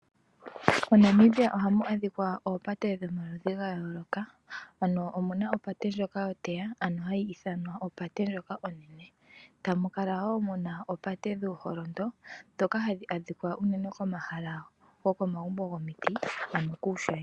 MoNamibia ohamu adhika oopate dhomaludhi ga yooloka omuna opate ndyoka yoteya ano hayi ithanwa opate ndyoka onene tamu kala muna opate dhuuholondo ndhoka hadhi adhika unene komahala gokomagumbo gomiti.